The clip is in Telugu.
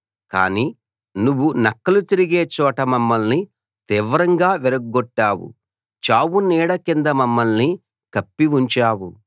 కానీ నువ్వు నక్కలు తిరిగే చోట మమ్మల్ని తీవ్రంగా విరగ్గొట్టావు చావునీడ కింద మమ్మల్ని కప్పి ఉంచావు